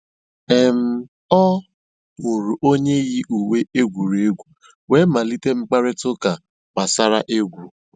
um Ọ hụ̀rụ̀ ònyè yì ùwé ègwùrègwù wéé malìtè mkpáịrịtà ụ́ka gbàsàrà ègwù.